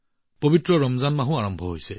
পবিত্ৰ ৰমজান মাহো আৰম্ভ হৈছে